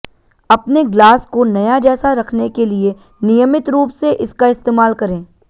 अपने ग्लास को नया जैसा रखने के लिए नियमित रूप से इसका इस्तेमाल करें